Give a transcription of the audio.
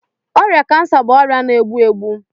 Ọrịa kansa bụ ọrịa na-egbu egbu.